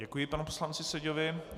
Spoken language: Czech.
Děkuji panu poslanci Seďovi.